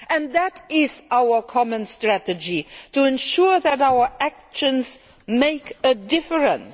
That is our common strategy, to ensure that our actions make a difference.